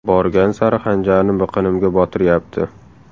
Borgan sari xanjarni biqinimga botiryapti.